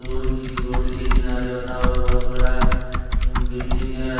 पुरखी के रोड के किनारे बसा हुआ बहोत बड़ा बिल्डिंग है।